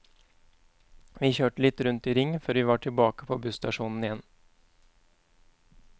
Vi kjørte litt rundt i ring før vi var tilbake på busstasjonen igjen.